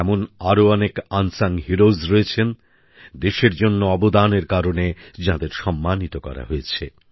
এমন আরও অনেক আনসাঙ হিরোজ রয়েছেন দেশের জন্য অবদানের কারণে যাঁদের সম্মানিত করা হয়েছে